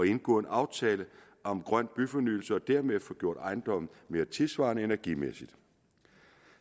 indgå en aftale om grøn byfornyelse og dermed få gjort ejendommen mere tidssvarende energimæssigt